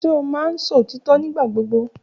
Ṣe o maán sọ otitọ nigbagbogbo?